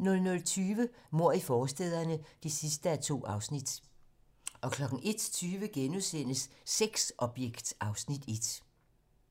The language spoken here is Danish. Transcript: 00:20: Mord i forstæderne (2:2) 01:20: Sexobjekt (Afs. 1)*